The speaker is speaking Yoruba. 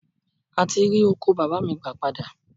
A ti rí oko bàbá mi gbà padà